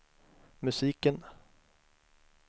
musiken